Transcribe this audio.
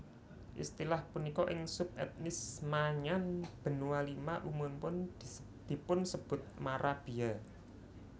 Istilah punika ing subetnis Maanyan Benua Lima umumipun dipunsebut marabia